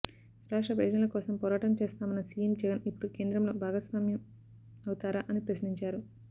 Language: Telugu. రాష్ట్ర ప్రయోజనాల కోసం పోరాటం చేస్తామన్న సీఎం జగన్ ఇప్పుడు కేంద్రంలో భాగస్వామ్యం అవుతారా అని ప్రశ్నించారు